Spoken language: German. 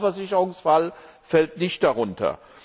Der normale Versicherungsfall fällt nicht darunter.